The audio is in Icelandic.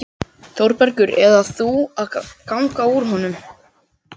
ÞÓRBERGUR: Eða þú ganga úr honum.